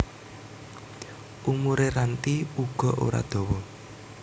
Umure Ranti uga ora dawa